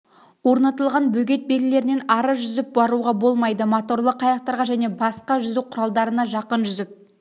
орнатылған бөгет белгілерінен ары жүзіп баруға болмайды моторлы қайықтарға және басқа жүзу құралдарына жақын жүзіп